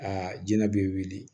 Aa jɛnɛ b'i weele